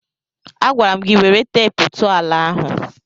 Agwara m gị were teepu tụọ ala ahụ!